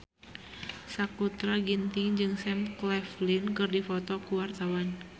Sakutra Ginting jeung Sam Claflin keur dipoto ku wartawan